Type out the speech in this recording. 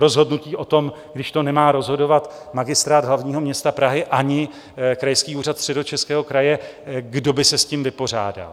Rozhodnutí o tom, když to nemá rozhodovat Magistrát hlavního města Prahy ani Krajský úřad Středočeského kraje, kdo by se s tím vypořádal?